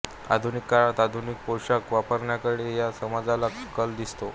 आधुनिक काळात आधुनिक पोशाख वापरण्याकडे या समाजाचा कल दिसतो